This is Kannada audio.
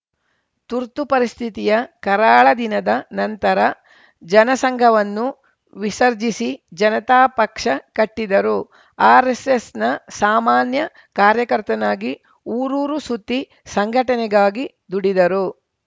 ತುರ್ತು ಪರಿಸ್ಥಿತಿಯ ಕರಾಳ ದಿನದ ನಂತರ ಜನಸಂಘವನ್ನು ವಿಸರ್ಜಿಸಿ ಜನತಾ ಪಕ್ಷ ಕಟ್ಟಿದರು ಆರ್‌ಎಸ್‌ಎಸ್‌ನ ಸಾಮಾನ್ಯ ಕಾರ್ಯಕರ್ತನಾಗಿ ಊರೂರು ಸುತ್ತಿ ಸಂಘಟನೆಗಾಗಿ ದುಡಿದರು